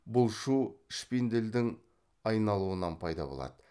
бұл шу шпинделдің айналуынан пайда болады